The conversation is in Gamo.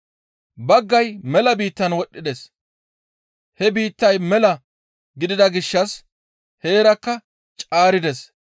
Baggay mela biittan wodhdhides. He biittay mela gidida gishshas heerakka caarides.